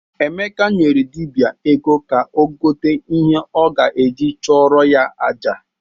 Emeka nyere dibịa ego ka o gote ihe ọ ga-eji chụrụ ya aja.